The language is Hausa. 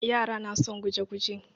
Yara na son guje-guje.